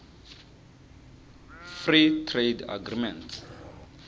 free trade agreements